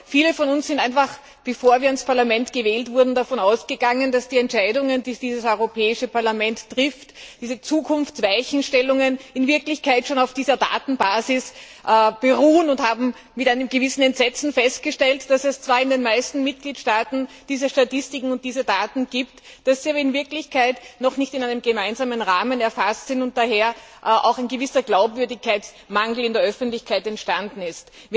Viele von uns sind einfach, bevor wir ins Parlament gewählt wurden, davon ausgegangen, dass die Entscheidungen, die dieses Europäische Parlament trifft, diese Zukunftsweichenstellungen, in Wirklichkeit schon auf dieser Datenbasis beruhen, und haben mit einem gewissen Entsetzen festgestellt, dass es zwar in den meisten Mitgliedstaaten diese Statistiken und diese Daten gibt, dass sie aber in Wirklichkeit noch nicht in einem gemeinsamen Rahmen erfasst sind und daher auch ein gewisser Glaubwürdigkeitsmangel in der Öffentlichkeit entstanden ist.